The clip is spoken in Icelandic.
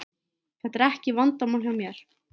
Þetta er ekki vandamál hjá mér.